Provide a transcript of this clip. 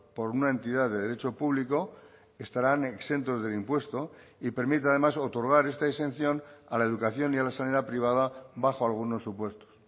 por una entidad de derecho público estarán exentos del impuesto y permite además otorgar esta exención a la educación y a la sanidad privada bajo algunos supuestos